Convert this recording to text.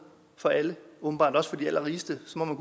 for alle åbenbart også for de allerrigeste så